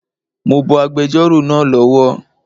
Mo bọ agbẹjọ́rò náà lọ wọ̀